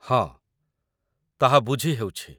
ହଁ, ତାହା ବୁଝିହେଉଛି